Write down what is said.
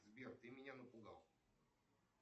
сбер ты меня напугал